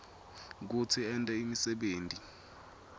kutsi ente imisebenti